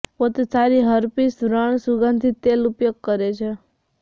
પોતે સારી હર્પીસ વ્રણ સુગંધિત તેલ ઉપયોગ કરે છે